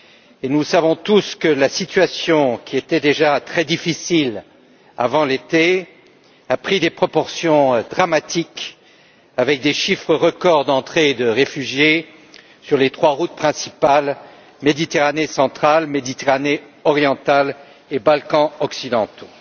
et nous savons tous que la situation, qui était déjà très difficile avant l'été, a pris des proportions dramatiques avec des chiffres records d'entrées de réfugiés sur les trois routes principales Méditerranée centrale, Méditerranée orientale et Balkans occidentaux.